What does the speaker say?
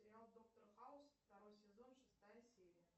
сериал доктор хаус второй сезон шестая серия